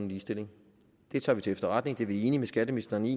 ligestilling det tager vi til efterretning for det er vi enige med skatteministeren i